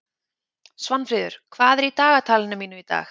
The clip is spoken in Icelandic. Svanfríður, hvað er í dagatalinu mínu í dag?